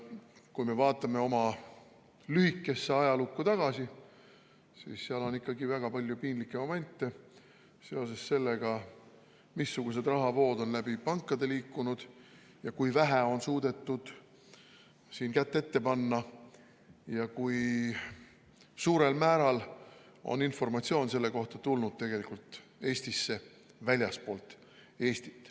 Kui me vaatame oma lühikeses ajaloos tagasi, siis leiame seal ikkagi väga palju piinlikke momente seoses sellega, missugused rahavood on läbi pankade liikunud ja kui vähe on suudetud sellele kätt ette panna ja kui suurel määral on informatsioon selle kohta tulnud Eestisse tegelikult väljastpoolt Eestit.